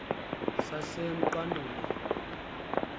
sasemqanduli